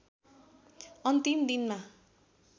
अन्तिम दिनमा